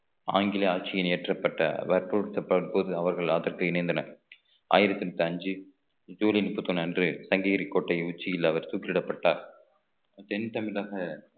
ஆங்கில ஆட்சியில் ஏற்றப்பட்ட வற்புறுத்தப்பட்ட போது அவர்கள் அதற்கு இணைந்தனர் ஆயிரத்தி எட்டு அஞ்சு ஜூலை முப்பத்தி ஒண்ணு அன்று சங்ககிரி கோட்டையின் உச்சியில் அவர் தூக்கிலிடப்பட்டார் தென் தமிழக